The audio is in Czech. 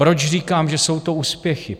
Proč říkám, že jsou to úspěchy?